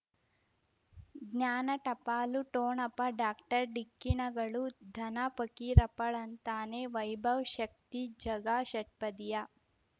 ಜ್ಞಾನ ಟಪಾಲು ಠೋಣಪ ಡಾಕ್ಟರ್ ಢಿಕ್ಕಿ ಣಗಳು ಧನ ಫಕೀರಪ್ಪ ಳಂತಾನೆ ವೈಭವ್ ಶಕ್ತಿ ಝಗಾ ಷಟ್ಪದಿಯ